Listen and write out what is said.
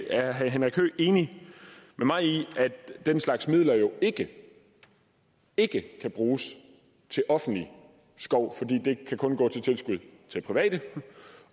er herre henrik høegh enig med mig i at den slags midler jo ikke kan bruges til offentlig skov fordi det kan kun gå til tilskud til private